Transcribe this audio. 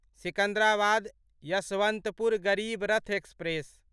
Secunderabad Yeshwantpur Garib Rath express